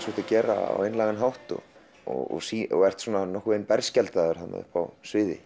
þú ert að gera á einlægan hátt og og ert nokkurn veginn berskjaldaður uppi á sviði